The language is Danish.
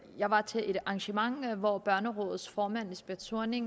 jeg var til et arrangement hvor børnerådets formand lisbeth zornig